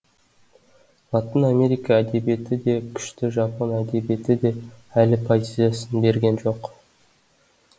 латын америка әдебиеті де күшті жапон әдебиеті де әлі позициясын берген жоқ